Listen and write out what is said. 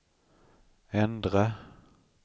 ändra